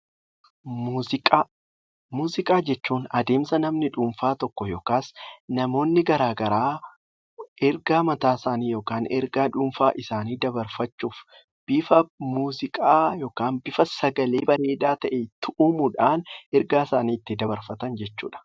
Muuziqaa. Muuziqaa jechuun adeemsa namni dhuunfaa tokko yookiin namoonni garaa garaa ergaa mataa isaanii yookiin ergaa dhuunfaa isaanii dabarfachuuf bifa muuziqaa yookiin sagalee bareedaa ta'een tu'uumuudhaan ergaa isaanii ittiin dabarfatan jechuudha.